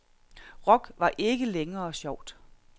Rock var ikke længere sjovt.